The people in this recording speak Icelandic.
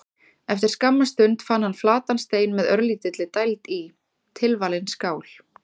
Eftir skamma stund fann hann flatan stein með örlítilli dæld í: tilvalin skál.